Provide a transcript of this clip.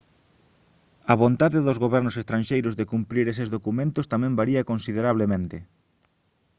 a vontade dos gobernos estranxeiros de cumprir eses documentos tamén varía considerablemente